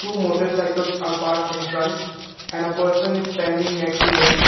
two motorcycles are parked in front and a person is standing next to them.